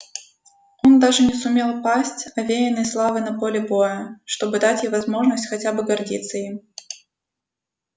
он даже не сумел пасть овеянный славой на поле боя чтобы дать ей возможность хотя бы гордиться им